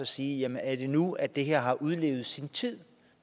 sige er det nu at det her har udlevet sin tid